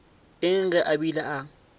eng ge a bile a